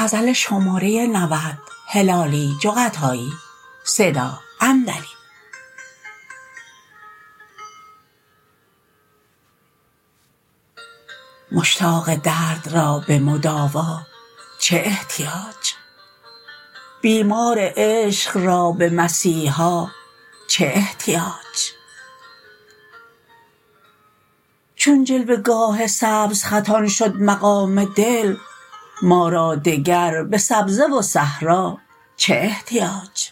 مشتاق درد را به مداوا چه احتیاج بیمار عشق را به مسیحا چه احتیاج چون جلوه گاه سبزخطان شد مقام دل ما را دگر به سبزه و صحرا چه احتیاج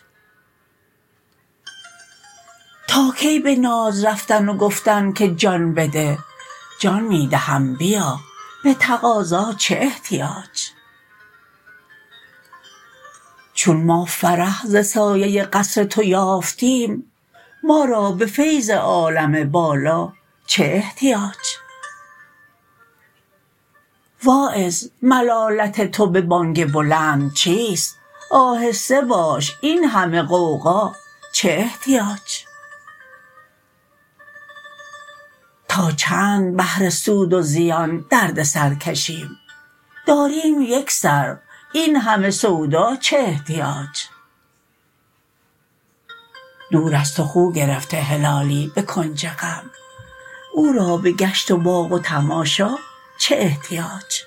تا کی به ناز رفتن و گفتن که جان بده جان می دهم بیا به تقاضا چه احتیاج چون ما فرح ز سایه قصر تو یافتیم ما را به فیض عالم بالا چه احتیاج واعظ ملالت تو به بانگ بلند چیست آهسته باش این همه غوغا چه احتیاج تا چند بهر سود و زیان درد سر کشیم داریم یک سر این همه سودا چه احتیاج دور از تو خو گرفته هلالی به کنج غم او را به گشت باغ و تماشا چه احتیاج